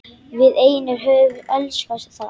Við einir höfum elskað það.